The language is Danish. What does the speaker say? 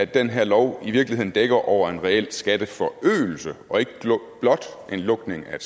den her lov i virkeligheden dækker over en reel skatteforøgelse og ikke blot er en lukning af